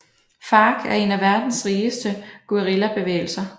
FARC er en af verdens rigeste guerillabevægelser